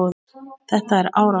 Þetta er árátta.